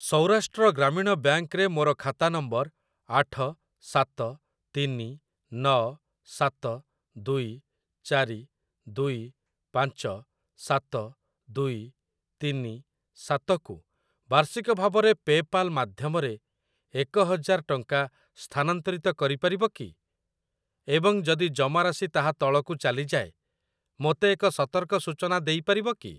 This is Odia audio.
ସୌରାଷ୍ଟ୍ର ଗ୍ରାମୀଣ ବ୍ୟାଙ୍କ୍‌ ରେ ମୋର ଖାତା ନମ୍ବର ଆଠ ସାତ ତିନି ନ ସାତ ଦୁଇ ଚାରି ଦୁଇ ପାଞ୍ଚ ସାତ ଦୁଇ ତିନି ସାତ କୁ ବାର୍ଷିକ ଭାବରେ ପେ ପାଲ୍ ମାଧ୍ୟମରେ ଏକ ହଜାର ଟଙ୍କା ସ୍ଥାନାନ୍ତରିତ କରିପାରିବ କି ଏବଂ ଯଦି ଜମାରାଶି ତାହା ତଳକୁ ଚାଲିଯାଏ ମୋତେ ଏକ ସତର୍କ ସୂଚନା ଦେଇପାରିବ କି?